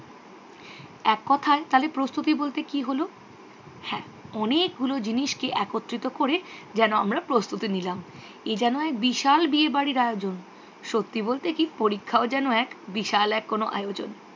এক কোথায় তাহলে প্রস্তুতি বলতে কি হল? হ্যাঁ অনেকগুলো জিনিসকে একত্রিত করে যেন আমরা প্রস্তুটি নিলাম। এ যেন এক বিশাল বিয়ে বাড়ির আয়োজন। সত্যি বলতে কি পরীক্ষাও যেন এক বিশাল এক কোনও আয়োজন।